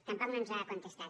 tampoc no ens ha contestat